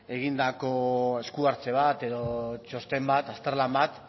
egindako esku hartze bat edo txosten bat azterlan bat